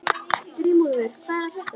Grímúlfur, hvað er að frétta?